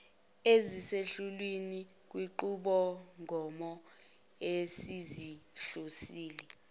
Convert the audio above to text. eziseqhulwini kwinqubomgomo esizihlonzile